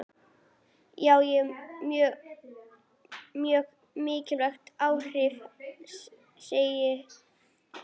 Já, mjög mikil áhrif, segir hún.